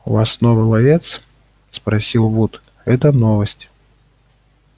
у вас новый ловец спросил вуд это новость